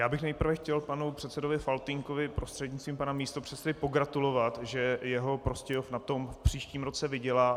Já bych nejprve chtěl panu předsedovi Faltýnkovi prostřednictvím pana místopředsedy pogratulovat, že jeho Prostějov na tom v příštím roce vydělá.